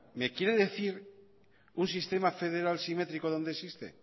me quiere decir un sistema federal simétrico dónde existe